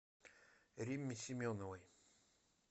римме семеновой